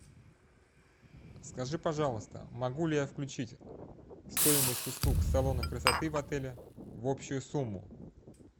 скажи пожалуйста могу ли я включить стоимость услуг салона красоты в отеле в общую сумму